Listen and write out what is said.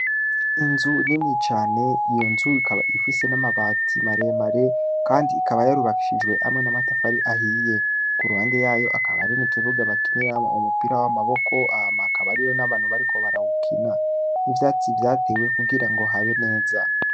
Inzu nini cane . Iyo nzu ikaba ifise namabati maremare Kandi ikaba yarubakishijwe namatafari ahiye kuruhande yayo hari Ikibuga bakiniramwo umupira wamaboko hama hakaba hariho nabantu bariko barawukina ivyatsi vyatewe Kugira habe neza.